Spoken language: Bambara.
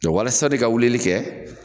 Jɔ walasa di ka wulili kɛ